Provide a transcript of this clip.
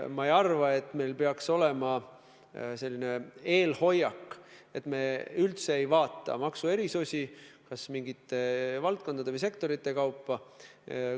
Ma ei arva, et meil peaks olema selline eelhoiak, et me üldse ei kaalu maksuerisusi kas mingite valdkondade või sektorite kaupa.